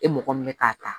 E mɔgɔ min ye k'a ta